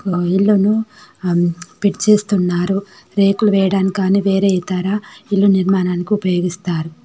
అమ్ fit చేస్తున్నారు రేకులు వేయటం కానీ వేరే ఇతర ఇల్లు నిర్మాణానికి ఉపయోగిస్తారు.